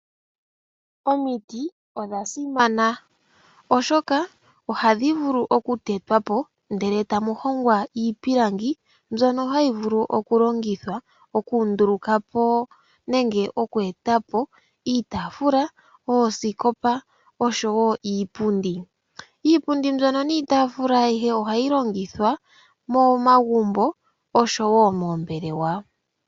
Omiti odha simana oshoka ohadhi vulu okutetwa po ndele tamu hongwa iipilangi, mbyono hayi vulu okulongithwa okunduluka po nenge okweeta po iitaafula, oosikopa oshowo iipundi. Iipundi mbyono niitaafula ayihe ohayi longithwa momagumbo oshowo moombelewa.